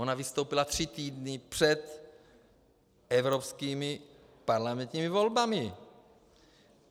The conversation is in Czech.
Ona vystoupila tři týdny před evropskými parlamentními volbami.